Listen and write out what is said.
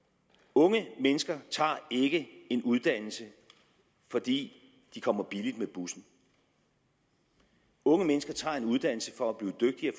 unge mennesker tager ikke en uddannelse fordi de kommer billigt med bussen unge mennesker tager en uddannelse for at blive dygtigere